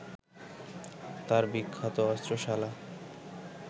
তাঁর বিখ্যাত অস্ত্রশালা